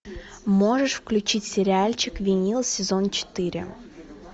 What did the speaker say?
можешь включить сериальчик винил сезон четыре